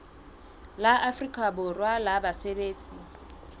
la afrika borwa la basebetsi